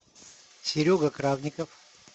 серега кравников